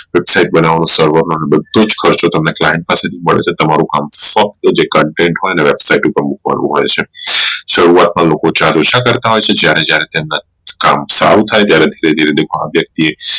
website બનાવણીઓ બધો જ ખર્ચો તમને client પાસેથી મળશે તમારું કામ ફક્ત જ Content હોઈ ને website ઉપર મુકવાનું હોઈ છે શરૂઆત માં લોકો કરતા હોઈ છે જયારે જયારે તેમના કામ સારું થઇ ત્યારે તેની